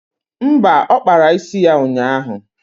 Mba, ọ kpara isi ya ụnyaahụ